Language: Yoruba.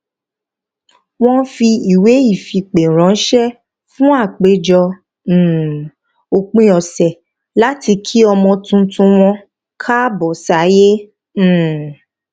wọn fi ìwé ìfipè ránṣé fún àpéjọ um òpin ọsẹ láti kí ọmọ tuntun wọn káàbọ sáyé um